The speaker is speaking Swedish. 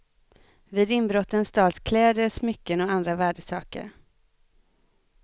Vid inbrotten stals kläder, smycken och andra värdesaker.